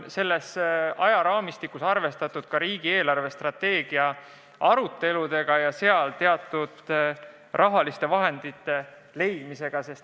Selles ajaraamistikus on arvestatud ka riigi eelarvestrateegia aruteludega ja strateegias teatud rahaliste vahendite leidmisega.